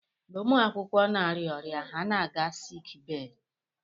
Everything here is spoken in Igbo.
Mgbe ụmụ akwụkwọ na-arịa ọrịa, ha na-aga siik bee.